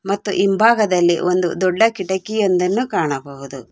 ಮತ್ತು ಹಿಂಭಾಗದಲ್ಲಿ ಒಂದು ದೊಡ್ಡ ಕಿಟಕಿಯೊಂದನ್ನು ಕಾಣಬಹುದು.